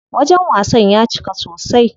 Wajen wasan ya cika sosai.